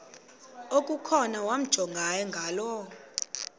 okukhona wamjongay ngaloo